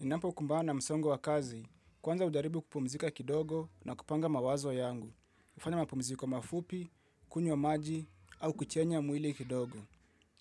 Ninapokumbana msongo wa kazi, kwanza ujaribu kupumzika kidogo na kupanga mawazo yangu, hufanya mapumziko mafupi, kunywa maji au kuchenya mwili kidogo.